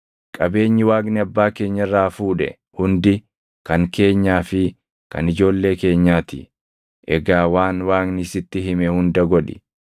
Qabeenyi Waaqni abbaa keenya irraa fuudhe hundi kan keenyaa fi kan ijoollee keenyaa ti. Egaa waan Waaqni sitti hime hunda godhi.”